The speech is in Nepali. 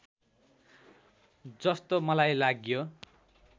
जस्तो मलाई लाग्यो